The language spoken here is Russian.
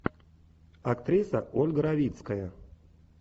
актриса ольга равицкая